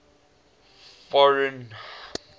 foreign